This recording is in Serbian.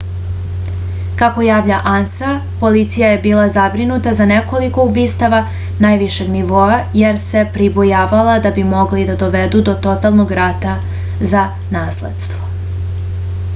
kako javlja ansa policija je bila zabrinuta za nekoliko ubistava najvišeg nivoa jer se pribojavala da bi mogli da dovedu do totalnog rata za nasledstvo